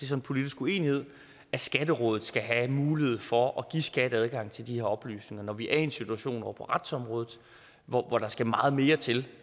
så en politisk uenighed at skatterådet skal have mulighed for at give skat adgang til de oplysninger når vi er i en situation på retsområdet hvor der skal meget mere til